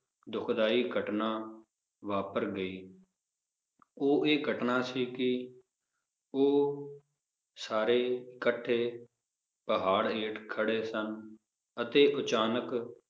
ਦੁਖਦਾਈ ਘਟਨਾ ਵਾਪਰ ਗਈ ਉਹ ਇਹ ਘਟਨਾ ਸੀ ਕਿ ਉਹ ਸਾਰੇ ਕੱਠੇ ਪਹਾੜ ਹੇਠ ਖੜੇ ਸਨ, ਅਤੇ ਅਚਾਨਕ